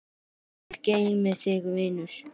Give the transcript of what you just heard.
Guð geymi þig, vinur.